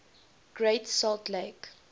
great salt lake